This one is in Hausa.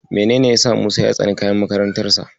Menene yasa Musa ya tsani kayan makarantarsa?